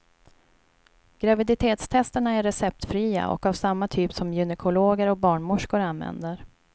Graviditetstesterna är receptfria och av samma typ som gynekologer och barnmorskor använder.